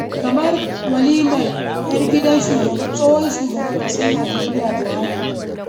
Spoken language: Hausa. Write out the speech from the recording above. Kamar bikin walimar 'yar gidan tsohon shugaban ƙasar Najeriya, Buhari.